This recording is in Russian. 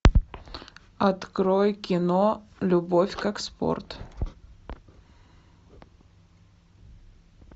открой кино любовь как спорт